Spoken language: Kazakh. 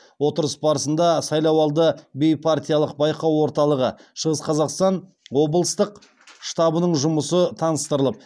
отырыс барысында сайлауды бейпартиялық байқау орталығы шығыс қазақстан облыслық штабының жұмысы таныстырылып